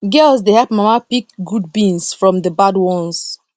girls dey help mama pick good beans from the bad ones